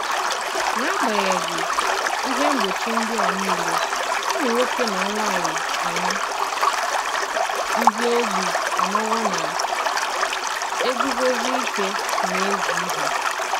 N’agbànyéghị́ Íhè mgbochi ndị a niile, ùmụ̀ nwòkè na nwànyị̀ ànyị̀ ndị ogbi anọwo na-eguzosi ìkè n’ezi ihé.